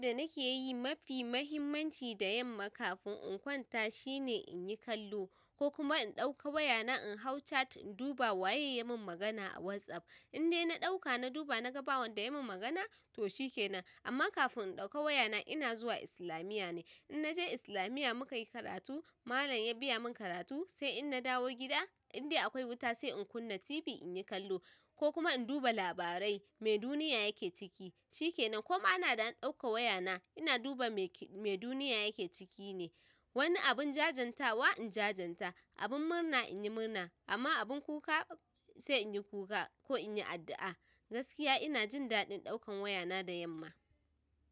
Abin da nake yi mafi muhimmanci da yamma kafin in kwanta shine in yi kallo ko kuma in ɗauka wayana in hau chat in duba waye ya min magana a WhatsApp. In dai na ɗauka na duba na ga ba wanda ya min magana toh shikenan. Amma kafin in ɗauka wayana ina zuwa islamiyya ne. In naje islamiyya muka yi karatu, malam ya biya mun karatu, sai in na dawo gida indai akwai wuta sai in kunna TV in yi kallo ko kuma in duba labarai me duniya yake ciki, shikenan. Koma ana da an ɗauka wayana ina duba me duniya yake ciki ne. Wani abun jajenta wa in jajenta, abun murna in yi murna amma abun kuka sai in yi kuka ko in yi addu'a. Gaskiya ina jin daɗin ɗaukan wayana da yamma.